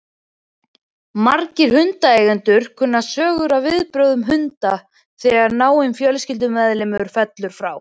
Margir hundaeigendur kunna sögur af viðbrögðum hunda þegar náinn fjölskyldumeðlimur fellur frá.